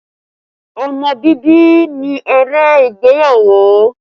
Ọmọ bíbí ni èrè ìgbéyàwó